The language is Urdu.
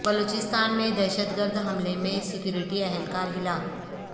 بلوچستان میں دہشت گرد حملے میں سیکیورٹی اہل کار ہلاک